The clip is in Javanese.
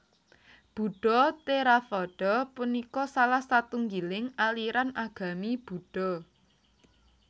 Buddha Theravada punika salah satunggiling aliran agami Buddha